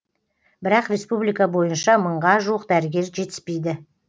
бірақ республика бойынша мыңға жуық дәрігер жетіспейді